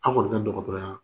An' kɔni ka dɔgɔtɔrɔya la